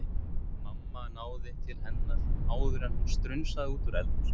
Mamma náði til hennar áður en hún strunsaði út úr eldhúsinu